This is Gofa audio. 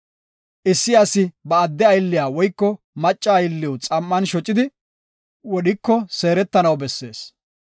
“Issi asi ba adde aylliya woyko macca aylliw xam7an shocidi wodhiko seeretanaw bessees.